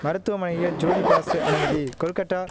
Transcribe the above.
மருத்துவமனையில் ஜோதிபாசு அனுமதி கொல்கட்டா